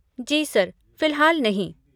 जी sir. फ़िलहाल नहीं।